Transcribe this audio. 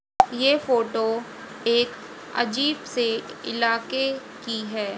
ये फोटो एक अजीब से इलाके की है।